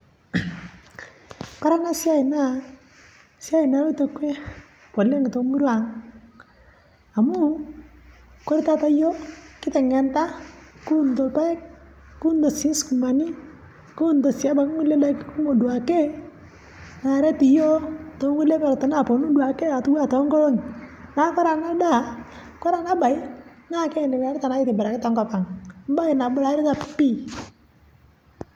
Ore ena siai naa esiai naloito dukuya oleng' temurua ang'. Amu ore taata iyiok kiteng'enita kuunito irpaek nikiunito sii sukumani kuunoto sii nkukie kumok oleng' naret iyiok tokulie tokitin napuon ake toonkoling'i. Naa kore ena naa kitobirita oleng' tenkop ang' bae naitobira pii.